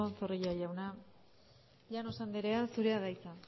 zorrilla jauna llanos andrea zurea da hitza